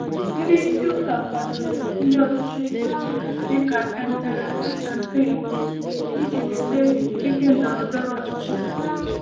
Ndị isi ụka kwadoro ndi ọchịchị dị ka Emperor Constantine iji nweta ike ndọrọ ndọrọ ọchịchị.